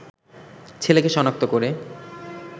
ছেলেকে শনাক্ত করে